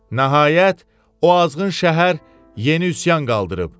Nəhayət, o azğın şəhər yeni üsyan qaldırıb.